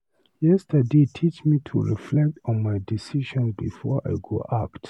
Yesterday teach me to reflect on my decisions before I go act.